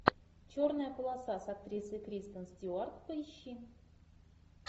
черная полоса с актрисой кристен стюарт поищи